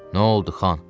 Nə oldu, Xan?